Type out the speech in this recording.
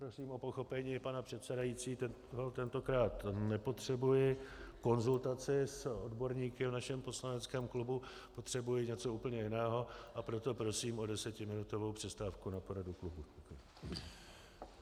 Prosím o pochopení, pane předsedající, tentokrát nepotřebuji konzultaci s odborníky v našem poslaneckém klubu, potřebuji něco úplně jiného, a proto prosím o desetiminutovou přestávku na poradu klubu.